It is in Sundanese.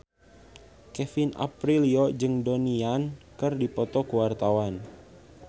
Kevin Aprilio jeung Donnie Yan keur dipoto ku wartawan